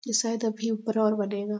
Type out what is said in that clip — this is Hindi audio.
ये शायद अभी ऊपर और बनेगा।